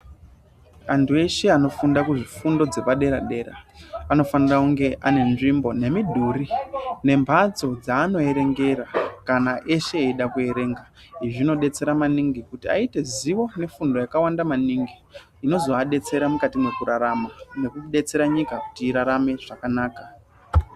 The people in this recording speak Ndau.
Antu eshe anofunda kuzvifundo zvepadera dera anofanira kunge ane nzvimbo nemidhuri nemhatso dzeanoerengera kana eshe eida kuerenga. Izvi zvinodetsera maningi kuti aite zivo nefundo yakawanda maningi zvinoazodetsera mukati mwekurarama nekudetsera nyika kuti irarame zvakanaka.